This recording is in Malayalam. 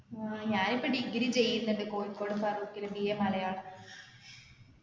ഏർ ഞാനിപ്പോ degree ചെയ്യുന്നുണ്ട് കോഴിക്കോട് ഫറോക്കിൽ BA മലയാളം